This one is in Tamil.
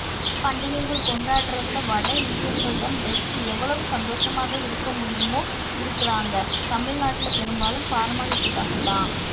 பண்டிகைகள கொண்டாடறதுல வடஇந்தியர்கள்தான் பெஸ்ட் எவ்வளவு சந்தோஷமா இருக்க முடியுமோ இருக்குறாங்க தமிழ்நாட்டுல பெரும்பாலும் பார்மாலிட்டிக்காகதான்